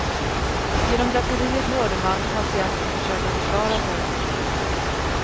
Genom draperiet hörde man patienten försöka försvara sig.